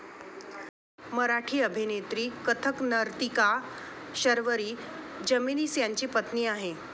मराठी अभिनेत्री, कथक नर्तिका शर्वरी जमेनीस त्यांची पत्नी आहे.